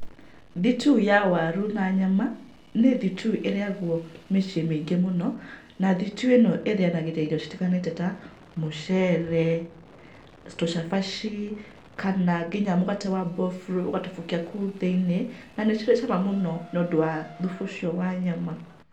Thitiu ya waru na nyama nĩ thitiu ĩrĩagwo mĩciĩ mĩingĩ mũno, na thitiu ĩno ĩrĩanagĩria irio citiganĩte ta mũcere, tũcabaci, kana nginya mũgate wa mboburũ ũgatubũkia kũu thĩinĩ, na nĩ cirĩ cama mũno nĩ ũndũ wa thubu ũcio wa nyama.